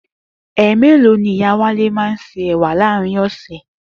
È̩mèlòó ni Ìyá Wálé má a ń se è̩wà láàárín ò̩sè̩?